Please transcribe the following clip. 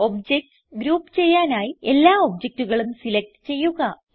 objects group ചെയ്യാനായി എല്ലാ ഒബ്ജക്റ്റുകളും സിലക്റ്റ് ചെയ്യുക